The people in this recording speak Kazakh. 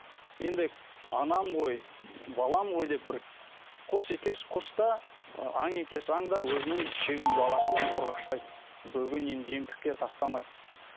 енді анам ғой балам ғой деп бір құс екеш құс та ы аң екеш аң да өзінің баласын қорғаштайды бөгенең жемтікке тастамайды